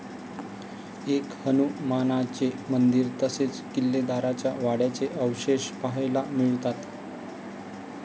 एक हनुमानाचे मंदिर तसेच किल्लेदाराच्या वाड्याचे अवशेष पहायला मिळतात.